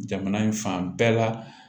Jamana in fan bɛɛ la